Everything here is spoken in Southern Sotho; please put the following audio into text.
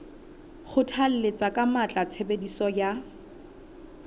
kgothalletsa ka matla tshebediso ya